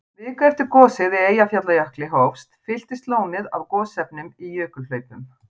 Viku eftir að gosið í Eyjafjallajökli hófst, fylltist lónið af gosefnum í jökulhlaupum.